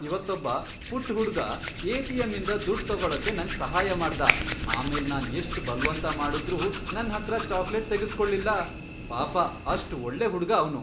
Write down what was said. ಇವತ್ತೊಬ್ಬ ಪುಟ್ಟ್ ಹುಡ್ಗ ಎ.ಟಿ.ಎಂ.ಇಂದ ದುಡ್ಡ್ ತಗೊಳಕ್ಕೆ ನಂಗ್ ಸಹಾಯ ಮಾಡ್ದ, ಆಮೇಲ್ ನಾನ್ ಎಷ್ಟ್ ಬಲ್ವಂತ ಮಾಡುದ್ರೂ ನನ್ಹತ್ರ ಚಾಕ್ಲೇಟ್ ತೆಗುಸ್ಕೊಳ್ಳಿಲ್ಲ. ಪಾಪ ಅಷ್ಟ್ ಒಳ್ಳೆ ಹುಡ್ಗ ಅವ್ನು.